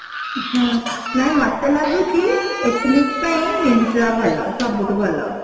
ହଁ ନାଇଁ ମତେ ଲାଗୁଛି ethnic ପାଇଁ Myntra ଭଲ ସବୁଠୁ ଭଲ